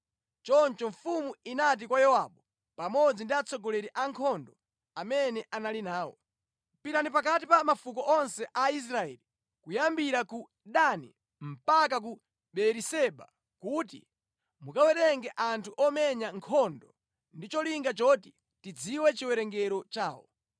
Choncho mfumu inati kwa Yowabu pamodzi ndi atsogoleri a ankhondo amene anali nawo. “Pitani pakati pa mafuko onse a Israeli kuyambira ku Dani mpaka ku Beeriseba kuti mukawerenge anthu omenya nkhondo ndi cholinga choti ndidziwe chiwerengero chawo.”